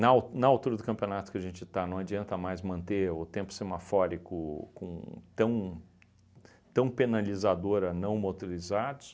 al na altura do campeonato que a gente está, não adianta mais manter o tempo semafórico com tão tão penalizador a não motorizados.